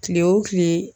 Kile wo kile